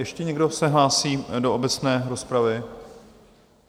Ještě někdo se hlásí do obecné rozpravy?